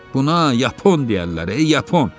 Buna yapon deyərlər, yapon.